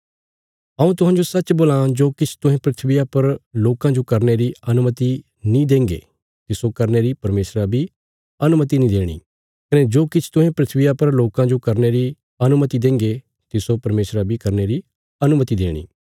हऊँ तुहांजो सच्च बोलां जो किछ तुहें धरतिया पर लोकां जो करने री अनुमति नीं देंगे तिस्सो करने री परमेशरा बी अनुमति नीं देणी कने जो किछ तुहें धरतिया पर लोकां जो करने री अनुमति देंगे तिस्सो परमेशरा बी करने री अनुमति देणी